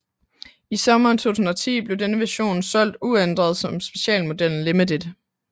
I sommeren 2010 blev denne version solgt uændret som specialmodellen Limited